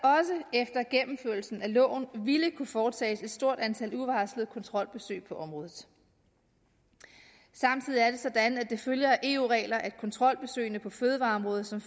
efter gennemførelsen af loven ville kunne foretages et stort antal uvarslede kontrolbesøg på området samtidig er det sådan at det følger af eu regler at kontrolbesøgene på fødevareområdet som